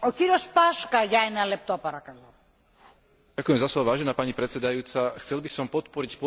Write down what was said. Chcel by som podporiť posilnenie ekonomického a hospodárskeho rámca Európskej susedskej politiky.